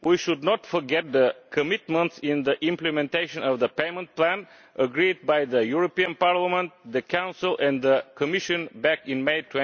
We should not forget the commitments in the implementation of the payment plan agreed by Parliament, the Council and the Commission back in May